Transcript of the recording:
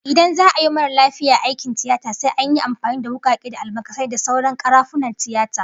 Idan za'a yi wa mara lafiya aikin tiyata sai an yi amfani da wukake da almakasai da sauran karafunan tiyata